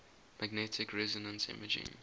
magnetic resonance imaging